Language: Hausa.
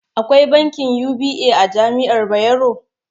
Akwai bankin UBA a jami'ar Bayero?